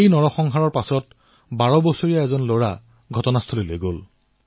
এই নৰসংহাৰৰ পিছত এজন বাৰ বছৰীয়া লৰা সেই ঘটনাস্থলীলৈ গল